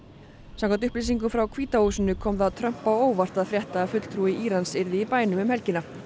samkvæmt upplýsingum frá hvíta húsinu kom það Trump á óvart að frétta að fulltrúi Írans yrði í bænum um helgina